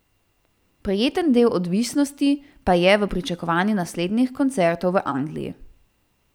Prijetni del odvisnosti pa je v pričakovanju naslednjih koncertov v Angliji.